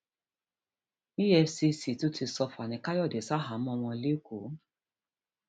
efcc tún ti sọ fanikanode sàháàmọ wọn lẹkọọ